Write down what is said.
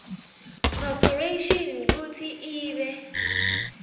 corporation kutsi ibe